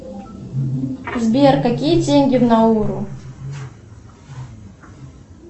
сбер какие деньги в науру